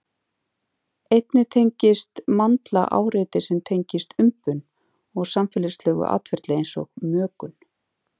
Einnig tengist mandla áreiti sem tengjast umbun og samfélagslegu atferli eins og mökun.